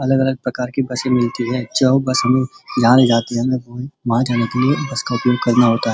अलग-अलग प्रकार के बसें मिलती है जो बस हमें यहाँ ले जाती है। वहाँ जाने के लिए बस का उपयोग करना पड़ता है।